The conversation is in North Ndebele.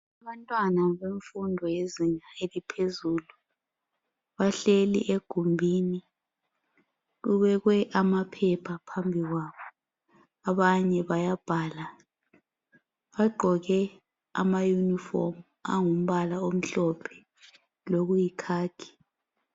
Abantwana bezinga eliphezulu bahleli egumbini kubekwe amaphepha phambi kwabo. Abanye bayabhala bagqoke amayunifomu angumbala omhlophe loyikhakhi.